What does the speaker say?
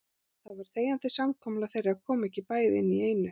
Það var þegjandi samkomulag þeirra að koma ekki bæði inn í einu.